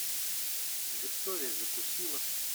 виктория закусило